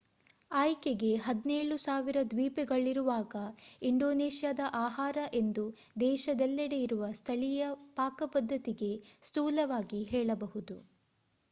ಆಯ್ಕೆಗೆ 17,000 ದ್ವೀಪಗಳಿರುವಾಗ ಇಂಡೋನೇಷ್ಯಾದ ಆಹಾರ ಎಂದು ದೇಶದೆಲ್ಲೆಡೆ ಇರುವ ಸ್ಥಳೀಯ ಪಾಕಪದ್ಧತಿಗೆ ಸ್ಥೂಲವಾಗಿ ಹೇಳಬಹುದು